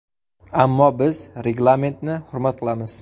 Ammo biz reglamentni hurmat qilamiz.